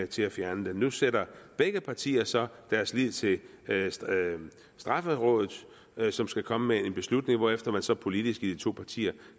til at fjerne den nu sætter begge partier så deres lid til strafferådet som skal komme med en beslutning hvorefter man så politisk i de to partier